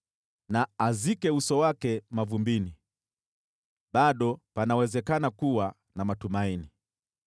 Na azike uso wake mavumbini bado panawezekana kuwa na matumaini.